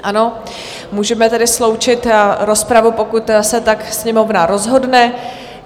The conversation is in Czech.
Ano, můžeme tedy sloučit rozpravu, pokud se tak Sněmovna rozhodne.